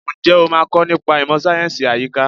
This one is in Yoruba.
Ǹjẹ́ o máa kọ nípa ìmọ̀ sáyẹ̀nsì àyíká?